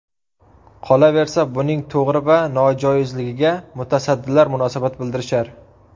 Qolaversa, buning to‘g‘ri yoki nojoizligiga mutasaddilar munosabat bildirishar.